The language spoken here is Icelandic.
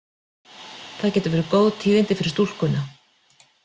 Það gætu verið góð tíðindi fyrir stúlkuna.